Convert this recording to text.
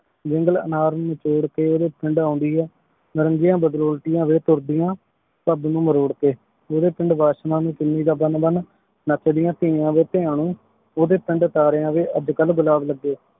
ਵਿਨ੍ਗਲੇ ਅਨਾਰ ਨੂ ਜੋਰ ਕੇ ਓਡੀ ਪੀਂਦਾ ਆਉਂਦੀ ਆਯ ਨਾਰਾਂਗਿਯਾਂ ਬਦ੍ਰੋਲ੍ਤਿਯਾਂ ਵੀ ਤੁਰ੍ਦਿਯਾਂ ਸਬ ਨੂ ਮਰੋਰ ਕੇ ਓਡੀ ਪਿੰਡ ਵਾਸ਼੍ਲਾਂ ਦੇ ਕੀਨੀ ਦਾ ਬਣ ਬਣ ਨਾਚ੍ਦਿਯਾਂ ਤਿਯਾਂ ਵੀ ਤ੍ਯਾਨੀ ਓਡੀ ਪਿੰਡ ਤਾਰੀਆਂ ਦੇ ਅਜੇ ਕਲ ਬ੍ਲਾਕ ਲਗੀ